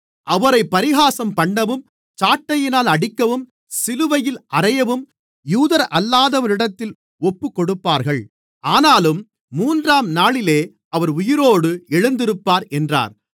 அவரைப் பரிகாசம்பண்ணவும் சாட்டையினால் அடிக்கவும் சிலுவையில் அறையவும் யூதரல்லாதவரிடத்தில் ஒப்புக்கொடுப்பார்கள் ஆனாலும் மூன்றாம்நாளிலே அவர் உயிரோடு எழுந்திருப்பார் என்றார்